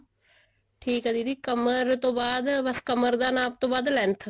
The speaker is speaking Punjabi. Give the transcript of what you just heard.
ਠੀਕ ਹੈ ਦੀਦੀ ਕਮਰ ਤੋਂ ਬਾਅਦ ਬ ਬੱਸ ਕਮਰ ਦੇ ਨਾਪ ਤੋਂ ਬਾਅਦ length